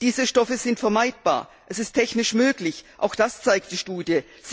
Diese Stoffe sind vermeidbar, es ist technisch möglich, auch das zeigt die Studie.